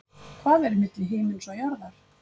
Hvað er milli himins og jarðar?